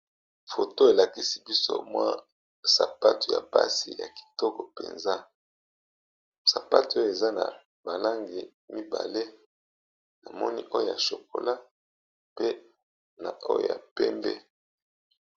Foto elakisi biso mwa sapatu ya basi ya kitoko mpenza ,sapatu oyo eza na balangi mibale na moni oyo ya shokola pe na oyo ya pembe.